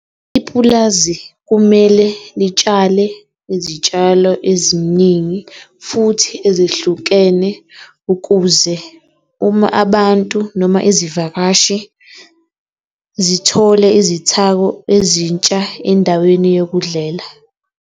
Ipulazi kumele litshale izitshalo eziningi futhi ezehlukene ukuze uma abantu noma izivakashi zithole izithako ezintsha endaweni yokudlela.